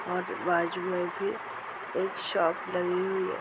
और बाजू में एक शॉप बनी हुई है।